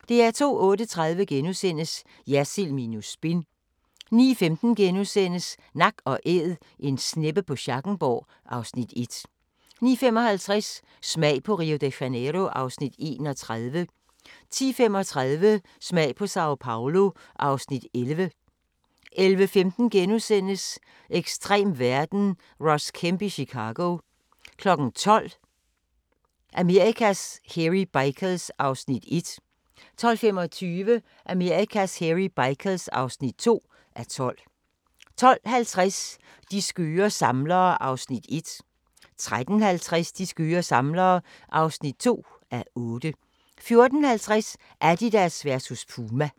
08:30: Jersild minus spin * 09:15: Nak & Æd - En sneppe på Schackenborg (Afs. 1)* 09:55: Smag på Rio de Janeiro (Afs. 31) 10:35: Smag på Sao Paolo (Afs. 11) 11:15: Ekstrem verden – Ross Kemp i Chicago * 12:00: Amerikas Hairy Bikers (1:12) 12:25: Amerikas Hairy Bikers (2:12) 12:50: De skøre samlere (1:8) 13:50: De skøre samlere (2:8) 14:50: Adidas versus Puma